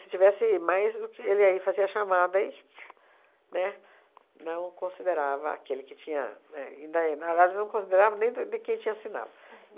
tivesse mais do que ele aí, fazia a chamada e né... Não considerava aquele que tinha é e ainda... Na verdade, não considerava nem do de quem tinha assinado.